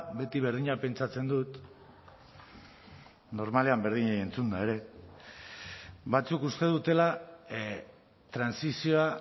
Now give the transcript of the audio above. beti berdina pentsatzen dut normalean berdinei entzunda ere batzuk uste dutela trantsizioa